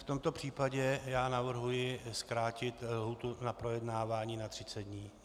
V tomto případě já navrhuji zkrátit lhůtu na projednávání na 30 dní.